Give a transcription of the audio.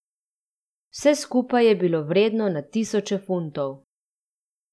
Vse skupaj je bilo vredno na tisoče funtov.